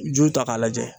Ju ta k'a lajɛ